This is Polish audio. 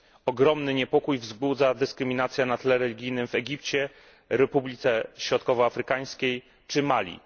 Ogromny niepokój wzbudza dyskryminacja na tle religijnym w Egipcie, Republice Środkowoafrykańskiej czy Mali.